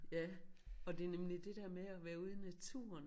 Ja og det nemlig det dér med at være ude i naturen